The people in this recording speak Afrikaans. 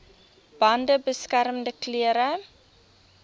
bande beskermende klere